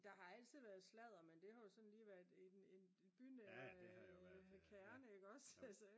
der har altid været sladder men det har jo sådan lige været i den bynære kerne ik også